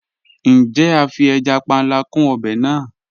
Njẹ̀, a fí ẹja pánlà kún obè náà?